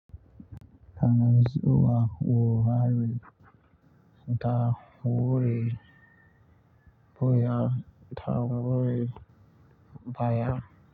Ana zuwa wurare da wuri, buya da wuri baya.